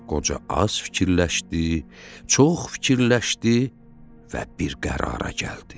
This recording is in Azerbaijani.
Qoca az fikirləşdi, çox fikirləşdi və bir qərara gəldi.